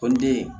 Ko n den